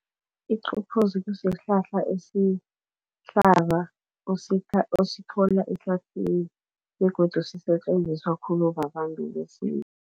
Iqaphozi kusihlahla esihlaza osithola ehlathini begodu sisetjenziswa khulu babantu besintu.